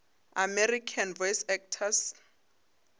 american voice actors